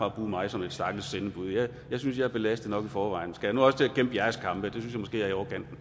at bruge mig som et stakkels sendebud jeg synes jeg er belastet nok i forvejen skal jeg nu også til at kæmpe jeres kampe